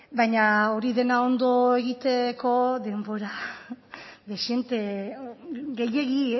baina hori dena ondo egiteko denbora dezente gehiegi